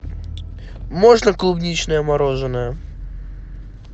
можно клубничное мороженое